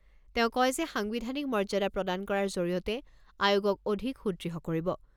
তেওঁ কয় যে সাংবিধানিক মৰ্যাদা প্ৰদান কৰাৰ জৰিয়তে আয়োগক অধিক সুদৃঢ় কৰিব।